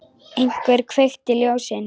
Einhver kveikti ljósin.